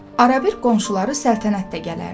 Ara-bir qonşuları Səltənət də gələrdi.